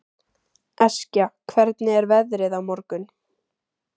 Eskja, hvernig er veðrið á morgun?